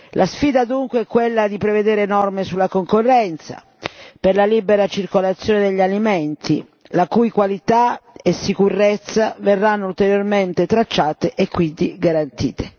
La sfida dunque è quella di prevedere norme sulla concorrenza, per la libera circolazione degli alimenti la cui qualità e sicurezza verranno ulteriormente tracciate e quindi garantite.